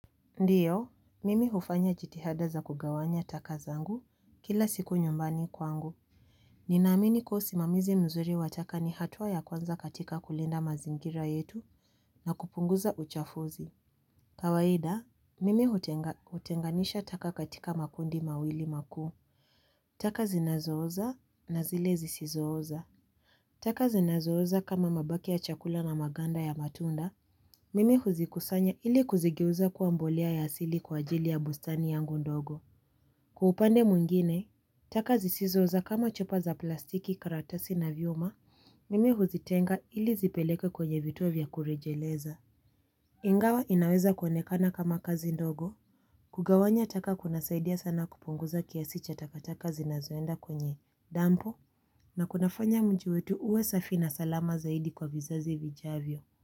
Ndiyo, mimi hufanya jitihada za kugawanya taka zangu kila siku nyumbani kwangu. Ninaamini kuwa usimamizi mzuri wa taka ni hatua ya kwanza katika kulinda mazingira yetu na kupunguza uchafuzi. Kawaida, mimi hutenganisha taka katika makundi mawili makuu. Taka zinazooza na zile zisizooza. Taka zinazooza kama mabaki ya chakula na maganda ya matunda. Mimi huzikusanya ili kuzigeuza kuwa mbolea ya asili kwa ajili ya bustani yangu ndogo. Kwa upande mwengine, taka zisizooza kama chupa za plastiki karatasi na vyuma, mimi huzitenga ili zipelekwe kwenye vituo vya kurejeleza. Ingawa inaweza kuonekana kama kazi ndogo, kugawanya taka kunasaidia sana kupunguza kiasi cha taka taka zinazoenda kwenye dampo na kunafanya mji wetu uwe safi na salama zaidi kwa vizazi vijavyo.